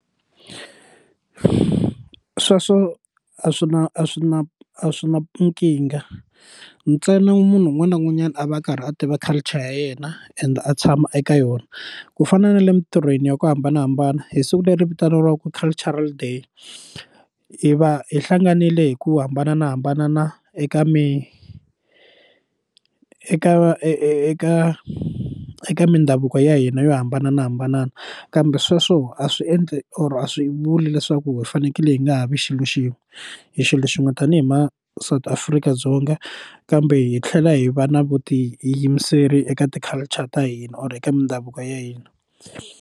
Sweswo a swi na a swi na a swi na nkingha ntsena munhu un'wana na un'wanyana a va a karhi a tiva culture ya yena ende a tshama eka yona ku fana na le mintirhweni ya ku hambanahambana hi siku leri vitaniwaka cultural day hi va hi hlanganile hi ku hambanahambana eka mi eka eka eka mindhavuko ya hina yo hambanahambana kambe sweswo a swi endli or a swi vuli leswaku hi fanekele hi nga ha vi xilo xin'we hi xilo xin'we tanihi ma South Africa-Dzonga kambe hi tlhela hi va na vutiyimiseri eka ti culture ta hina or eka mindhavuko ya hina.